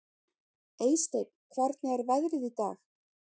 Eysteinn, hvernig er veðrið í dag?